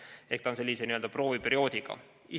Ehk see on sellise n‑ö prooviperioodiga.